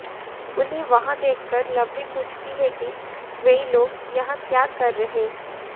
उन्हें वहां देखकर लवली पूछती है कि वे लोग यहां क्या कर रहे